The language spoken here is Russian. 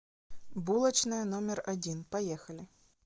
булочная номер один поехали